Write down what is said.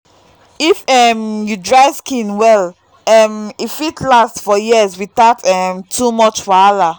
if um you dry skin well um e fit last for years without um too much wahala.